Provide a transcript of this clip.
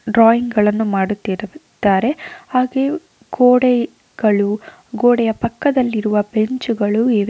Drawing ಗಳನ್ನು ಮಾಡತ್ತಿರುತ್ತಾರೆ ಹಾಗೆಯು ಗೋಡೆಗಳು ಗೋಡೆಯ ಪಕ್ಕದಲ್ಲಿರುವ ಬೆಂಚುಗಳು ಇವೆ.